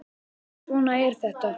En svona er þetta